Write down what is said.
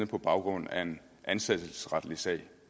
på baggrund af en ansættelsesretlig sag